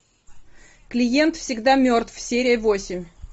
клиент всегда мертв серия восемь